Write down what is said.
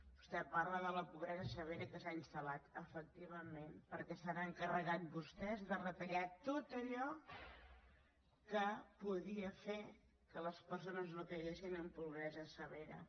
vostè parla de la pobresa severa que s’ha instalvament perquè s’han encarregat vostès de retallar tot allò que podia fer que les persones no caiguessin en pobresa severa